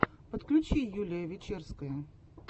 подключи юлия вечерская